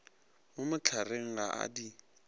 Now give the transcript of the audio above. mo mohlareng ga a di